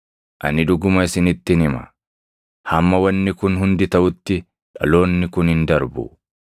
“Ani dhuguma isinittin hima; hamma wanni kun hundi taʼutti dhaloonni kun hin darbu.